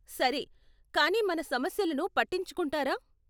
సరే, కానీ మన సమస్యలను పట్టించుకుంటారా?